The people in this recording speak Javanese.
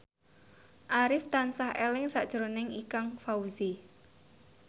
Arif tansah eling sakjroning Ikang Fawzi